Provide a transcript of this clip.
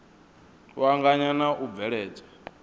u anganya na u bveledzwa